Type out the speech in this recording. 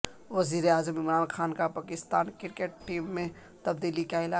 وزیراعظم عمران خان کا Pakistan cricket team میں تبدیلی کا اعلان